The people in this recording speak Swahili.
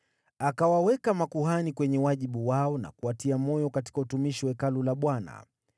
Akawaweka makuhani kwenye wajibu wao na kuwatia moyo katika utumishi wa Hekalu la Bwana .